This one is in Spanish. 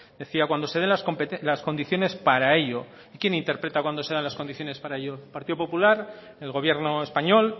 decía cuando se den las condiciones para ello y quién interpreta cuándo se dan las condiciones para ello el partido popular el gobierno español